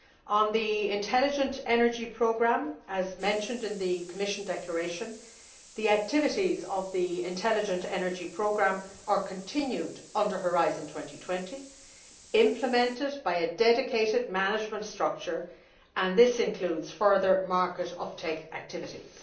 On the Intelligent Energy Programme as mentioned in the Commission declaration, the activities of the Intelligent Energy Programme are continued under Horizon 2020 and implemented by a dedicated management structure which includes further market uptake activities.